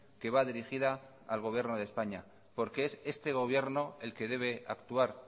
que va dirigida al gobierno de españa porque es este gobierno el que debe actuar